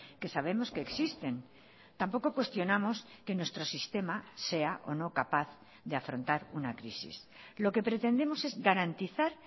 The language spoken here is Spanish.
que sabemos que existen tampoco cuestionamos que nuestro sistema sea o no capaz de afrontar una crisis lo que pretendemos es garantizar